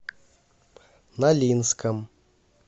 нолинском